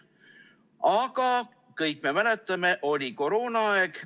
Aga kõik me mäletame, et oli koroonaaeg.